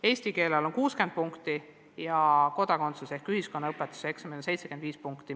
Eesti keele eksamil on lävend 60 punkti ja kodakondsuse ehk ühiskonnaõpetuse eksamil 75 punkti.